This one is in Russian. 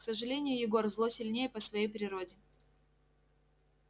к сожалению егор зло сильнее по своей природе